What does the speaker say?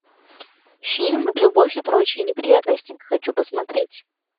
фильм любовь и прочие неприятности хочу посмотреть